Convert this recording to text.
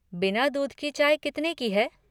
बिना दूध की चाय कितने की है?